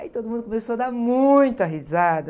Aí todo mundo começou a dar muita risada.